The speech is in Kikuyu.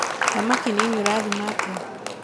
thamaki nini ũrathima atĩa?